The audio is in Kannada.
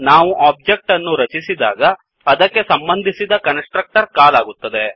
ನಾವು ಒಬ್ಜೆಕ್ಟ್ ಅನ್ನು ರಚಿಸಿದಾಗ ಅದಕ್ಕೆ ಸಂಬಂಧಿಸಿದ ಕನ್ಸ್ ಟ್ರಕ್ಟರ್ ಕಾಲ್ ಆಗುತ್ತದೆ